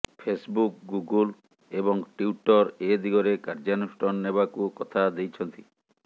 Facebook Google ଏବଂ Twitter ଏଦିଗରେ କାର୍ଯ୍ୟାନୁଷ୍ଠାନ ନେବାକୁ କଥା ଦେଇଛନ୍ତି